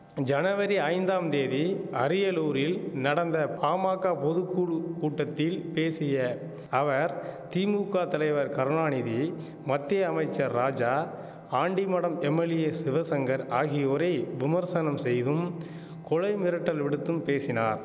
ஜனவரி ஐந்தாம் தேதி அரியலூரில் நடந்த பாமாக்க பொது குழு கூட்டத்தில் பேசிய அவர் திமுக தலைவர் கருணாநீதியை மத்திய அமைச்சர் ராஜா ஆண்டிமடம் எம்எல்ஏ சிவசங்கர் ஆகியோரை விமர்சனம் செய்தும் கொலை மிரட்டல் விடுத்தும் பேசினார்